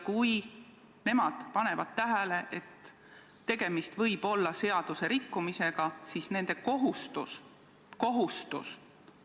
Kui nemad panevad tähele, et tegemist võib olla seaduserikkumisega, siis nende kohustus – kohustus!